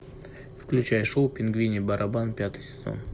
включай шоу пингвиний барабан пятый сезон